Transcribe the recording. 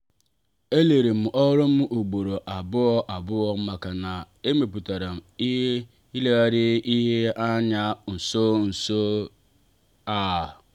elelerem ọrụ m ugboro abụọ abụọ maka na a mụtara ileghara ihe anya nso nso a.